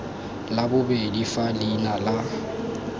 la bobedi fa leina la